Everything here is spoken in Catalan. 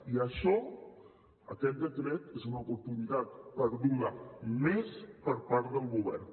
i això aquest decret és una oportunitat perduda més per part del govern